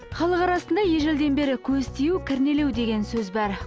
халық арасында ежелден бері көз тию кірнелеу деген сөз бар